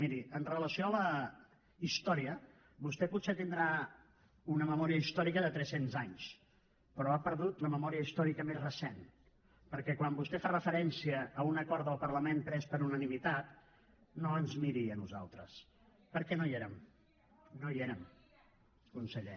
miri amb relació a la història vostè potser deu tenir una memòria històrica de tres cents anys però ha perdut la memòria històrica més recent perquè quan vostè fa referència a un acord del parlament pres per unanimitat no ens miri a nosaltres perquè no hi érem no hi érem conseller